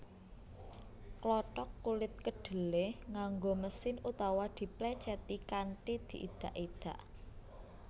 Klothok kulit kedhelé nganggo mesin utawa diplècèti kanthi diidak idak